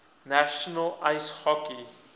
national ice hockey